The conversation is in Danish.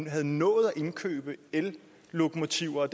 havde nået at indkøbe ellokomotiver